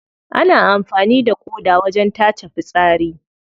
Ana amfani da ƙoda wajen tace fitsari.